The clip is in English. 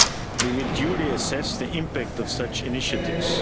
We will duly assess the impact of such initiatives.